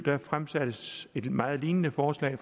fremsattes et meget lignende forslag